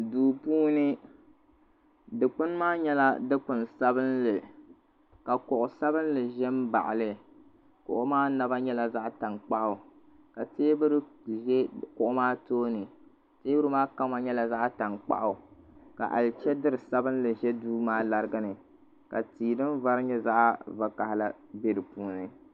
duu puuni dikpuni maa nyɛla dikpuni sabinli ka kuɣu sabinli ʒɛ n baɣali kuɣu maa naba nyɛla zaɣ tankpaɣu ka teebuli ʒɛ kuɣu maa tooni teebuli maa kama nyɛla zaɣ tankpaɣu ka alichɛdiri sabinli bɛ duu maa ni ka tia din vari nyɛ zaɣ vakaɣala bɛ di puuni